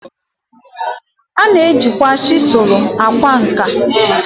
A na-ejikwa chisulu akwa nka.